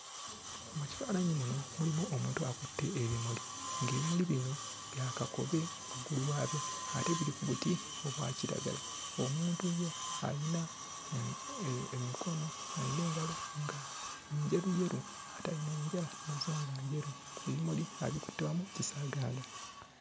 Mu kifaananyi muno mulimu omuntu akutte ebimuli, ng'ebimuli bino bya kakobe waggulu waabyo ate buli ku buti obwa kiragala. Omuntu ye ayina emikono, ayina engalo nga njeru yeru ate ayina n'enjala nazo nga njeru. Ebimuli abikutte wamu kisaaganda.